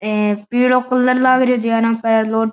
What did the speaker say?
हैं पीला कलर लाग है रहियो --